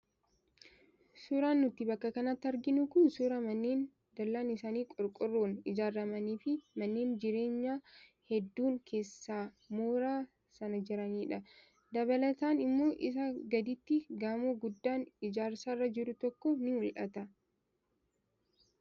Suuraan nuti bakka kanatti arginu kun suuraa manneen dallaan isaanii qorqoorroon ijaaramanii fi manneen jireenyaa hedduun keessa mooraa sanaa jiranidha. Dabalataan immoo isaa gaditti gamoo guddaan ijaarsarra jiru tokko ni mul'ata.